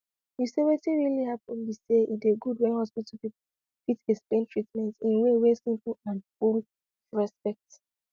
you said wetin really happen be say e dey good when hospital people fit explain treatment in way wey simple and full of respect